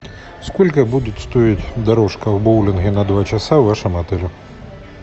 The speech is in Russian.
сколько будет стоить дорожка в боулинге на два часа в вашем отеле